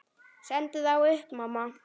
Sendu þá upp, mamma.